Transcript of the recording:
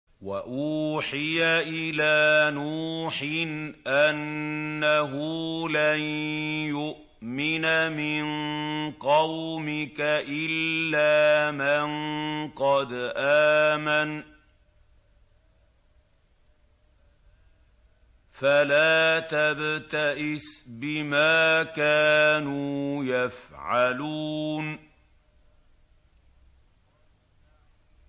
وَأُوحِيَ إِلَىٰ نُوحٍ أَنَّهُ لَن يُؤْمِنَ مِن قَوْمِكَ إِلَّا مَن قَدْ آمَنَ فَلَا تَبْتَئِسْ بِمَا كَانُوا يَفْعَلُونَ